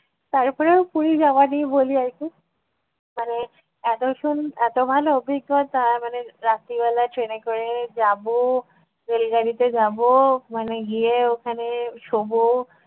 তারপরেও পুরি যাওয়া নিয়ে বলি আর কী একটু মানে এত সুন এত ভালো অভিজ্ঞতা মানে রাত্রিবেলা train এ করে যাব rail গাড়িতে যাব মানে গিয়ে ওখানে শোবো,